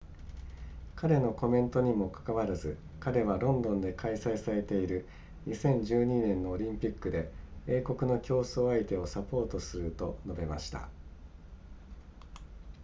彼のコメントにもかかわらず彼はロンドンで開催されている2012年のオリンピックで英国の競争相手をサポートすると述べました